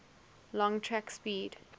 long track speed